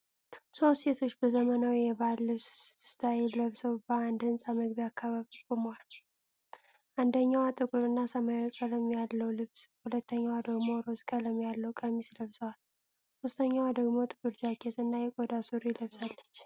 ሶስት ሴቶች በዘመናዊ የባህል ልብስ ስታይል ለብሰው በአንድ ህንፃ መግቢያ አካባቢ ቆመዋል፡፡ አንደኛዋ ጥቁር እና ሰማያዊ ቀለም ያለው ልብስ፣ ሁለተኛዋ ደግሞ ሮዝ ቀለም ያለው ቀሚስ ለብሰዋል፤ ሶስተኛዋ ደግሞ ጥቁር ጃኬት እና የቆዳ ሱሪ ለብሳለች፡